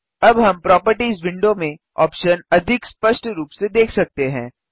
अब हम properties window में ऑप्शन अधिक स्पष्ट रूप से देख सकते हैं